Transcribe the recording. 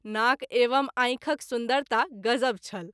नाक एवं आँखिक सुन्दरता गजब छल।